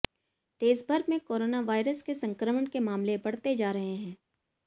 देशभर में corona virus के संक्रमण के मामले बढ़ते जा रहे हैं